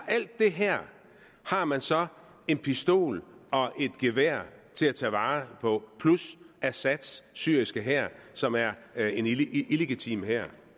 alt det her har man så en pistol og et gevær plus assads syriske hær som er er en illegitim hær